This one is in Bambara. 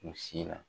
U si la